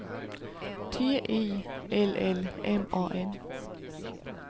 T I L L M A N